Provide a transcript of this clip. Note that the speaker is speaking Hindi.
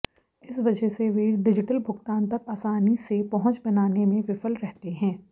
इस वजह से वे डिजिटल भुगतान तक आसानी से पहुंच बनाने में विफल रहते हैं